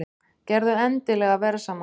Gerðu endilega verðsamanburð!